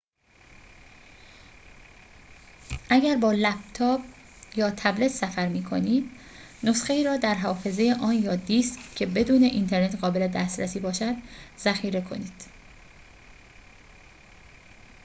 اگر با لپتاپ یا تبلت سفر می‌کنید، نسخه‌ای را در حافظه آن یا دیسک که بدون اینترنت قابل دسترسی باشد ذخیر کنید